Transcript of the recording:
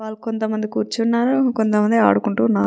వాలు కొంత మదని కోర్చోనారు కొంత మంది నిలుచోనారు--